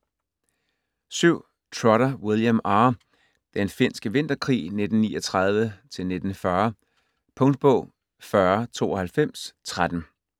Trotter, William R.: Den finske vinterkrig: 1939-1940 Punktbog 409213